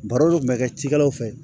Baro dun kun bɛ kɛ cikɛlaw fɛ